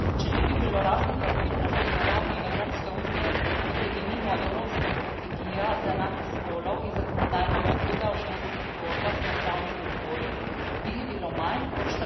Če ne bi bilo raznih aktivnosti na ravni Evropske unije, kot je denimo Evropska strategije za enakost spolov in zakonodajna pobuda o ženskih kvotah v upravnih odborih, bi jih bilo manj kot